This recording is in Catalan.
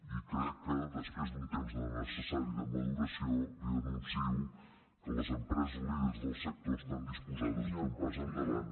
i crec que després d’un temps necessari de maduració li anuncio que les empreses líders del sector estan disposades a fer un pas endavant